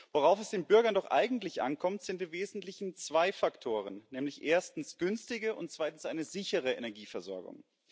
Worauf es den Bürgern doch eigentlich ankommt, sind im Wesentlichen zwei Faktoren nämlich erstens eine günstige und zweitens eine sichere Energieversorgung.